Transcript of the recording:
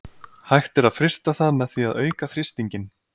hægt er að frysta það með því að auka þrýstinginn